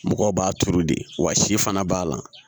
Mɔgɔw b'a turu de wa si fana b'a la